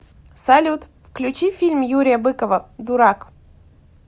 салют включи фильм юрия быкова дурак